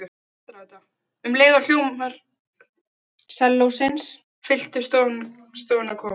Um leið og hljómar sellósins fylltu stofuna kom